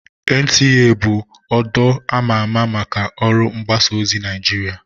NTA bụ ọdụ ama ama maka ọrụ mgbasa ozi Naịjirịa